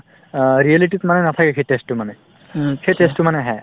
অ, reality তো মানে নাথাকে সেই test তোৰ মানে সেই test তো মানে আহে